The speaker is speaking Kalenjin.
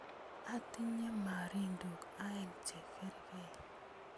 Atinye marindok aeng' che kerkey